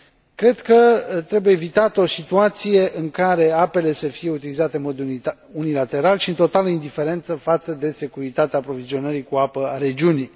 Cred că trebuie evitată o situație în care apele să fie utilizate în mod unilateral și în totală indiferență față de securitatea aprovizionării cu apă a regiunii.